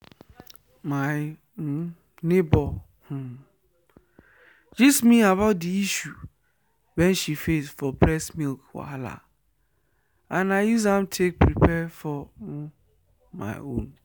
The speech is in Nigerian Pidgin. my um neighbor um gist me about the issue wen she face for breast milk wahala and i use am take prepare for um my own